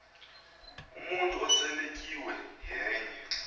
umntu oseletyiwe yenye